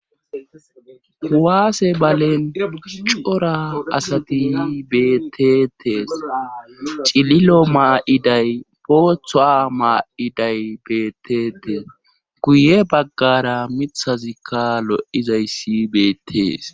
Huwaase balen cora asati beetetees cililo maa7iday boothoa maa7iday betetees guye baggara mithazikka lo7izayssi beetees.